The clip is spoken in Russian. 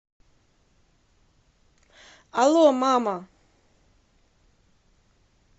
алло мама